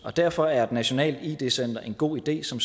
derfor er et nationalt id center en god idé som